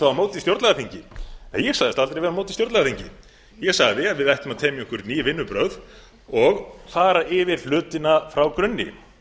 þá á móti stjórnlagaþingi ég sagðist aldrei vera á móti stjórnlagaþingi ég sagði að við ættum að temja okkur ný vinnubrögð og fara yfir hlutina frá grunni